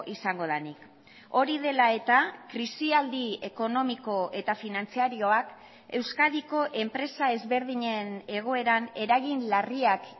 izango denik hori dela eta krisialdi ekonomiko eta finantzarioak euskadiko enpresa ezberdinen egoeran eragin larriak